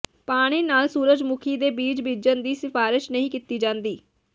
ਪਾਣੀ ਨਾਲ ਸੂਰਜਮੁਖੀ ਦੇ ਬੀਜ ਬੀਜਣ ਦੀ ਸਿਫਾਰਸ਼ ਨਹੀਂ ਕੀਤੀ ਜਾਂਦੀ